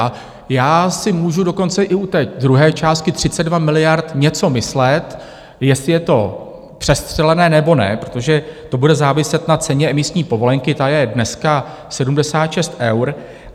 A já si můžu dokonce i u té druhé částky 32 miliard něco myslet, jestli je to přestřelené, nebo ne, protože to bude záviset na ceně emisní povolenky, ta je dneska 76 eur.